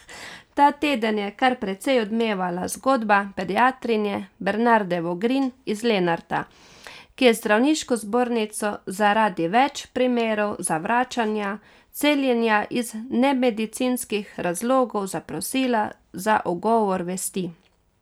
Ta teden je kar precej odmevala zgodba pediatrinje Bernarde Vogrin iz Lenarta, ki je zdravniško zbornico zaradi več primerov zavračanja celjenja iz nemedicinskih razlogov zaprosila za ugovor vesti.